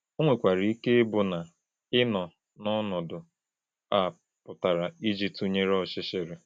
Ọ nwekwara ike ịbụ na ị nọ n’ọnọdụ a pụrụ iji tụnyere ọchịchịrị.